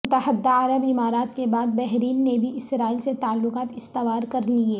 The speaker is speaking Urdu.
متحدہ عرب امارات کے بعد بحرین نے بھی اسرائیل سے تعلقات استوار کرلیے